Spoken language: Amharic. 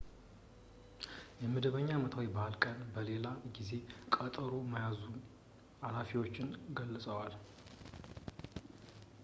የመደበኛ አመታዊ በዓል ቀን ለሌላ ጊዜ ቀጠሮ መያዙን ኃላፊዎች ገልፀዋል